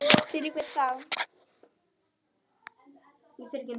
Fyrir hvern þá?